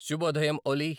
శుభోదయం ఓలి